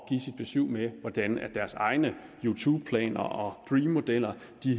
besyv med hvordan deres egne youtubeplaner og dream modeller